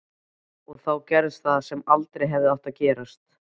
Og þá gerðist það sem aldrei hefði átt að gerast.